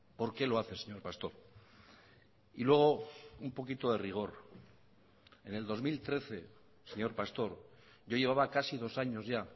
por qué lo hace señor pastor y luego un poquito de rigor en el dos mil trece señor pastor yo llevaba casi dos años ya